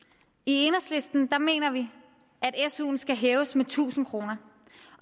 enhedslisten mener vi at suen skal hæves med tusind kr